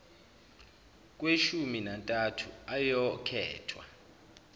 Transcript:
kweshumi nantathu ayokhethwa